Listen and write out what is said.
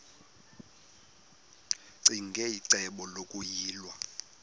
ccinge icebo lokuyilwa